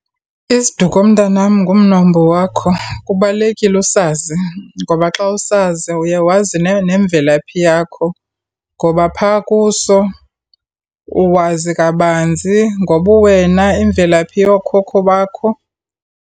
Isiduko, mntanam, ngumnombo wakho. Kubalulekile usazi ngoba xa usazi uyewazi nayo nemvelaphi yakho ngoba phaa kuso, uwazi kabanzi ngobuwena imvelaphi yookhokho bakho.